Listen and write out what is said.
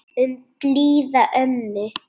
Um blíða ömmu.